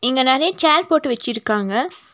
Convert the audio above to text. இங்க நெறைய சேர் போட்டு வச்சிருக்காங்க.